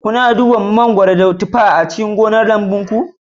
Kuna duba mangwaron, gobar, da tufar a cikin gonar lamubunku?